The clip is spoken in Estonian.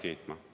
Hea minister!